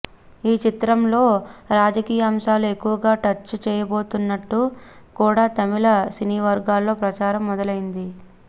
ఈ చిత్రంలో రాజకీయ అంశాలు ఎక్కువగా టచ్ చేయబోతున్నట్లు కూడా తమిళ సినీవర్గాల్లో ప్రచారం మొదలయింది